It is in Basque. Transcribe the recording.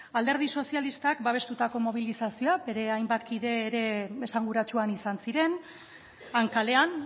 alderdi sozialistak babestutako mobilizazioa bere hainbat kide ere esanguratsu han izan ziren han kalean